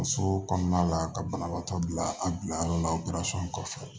So kɔnɔna la ka banabaatɔ bila a bilayɔrɔ la o kɔfɛ